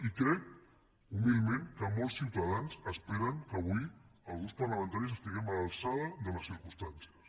i crec humilment que molts ciutadans esperen que avui els grups parlamentaris estiguem a l’alçada de les circumstàncies